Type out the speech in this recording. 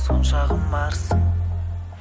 сонша құмарсың